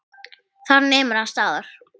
Þar nemur hann staðar.